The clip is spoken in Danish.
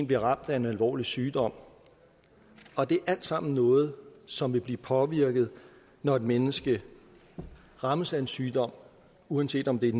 bliver ramt af en alvorlig sygdom og det er alt sammen noget som vil blive påvirket når et menneske rammes af en sygdom uanset om det er